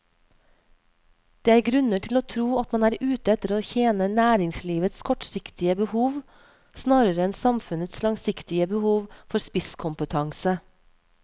Det er grunner til å tro at man er ute etter å tjene næringslivets kortsiktige behov snarere enn samfunnets langsiktige behov for spisskompetanse.